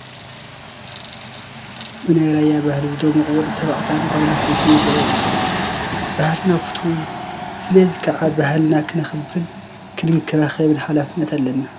ብናይ ራያ ባህሊ ዝደመቑ ወዲ ተባዕታይን ጓል ኣነስተይትን ይርአዩ ኣለዉ፡፡ ባህልና ፍቱው እዩ፡፡ ሰለዚ ከዓ ባህልና ክነኽብርን ክንንከባኸብን ሓላፍነት ኣለና፡፡